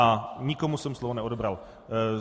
A nikomu jsem slovo neodebral.